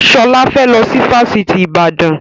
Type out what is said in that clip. Sọlá fẹ́ lọ sí Fáṣítì Ibadan